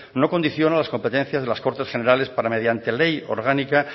no condiciona las competencias de las cortes generales para mediante ley orgánica